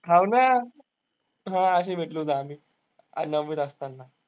हो ना. हा अशे भेटलो होतो आम्ही. अं नववीत असताना.